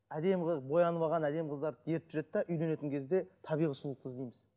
әдемі қыз боянып алған әдемі қыздарды ертіп жүреді де үйленетін кезде табиғи сұлулықты іздейміз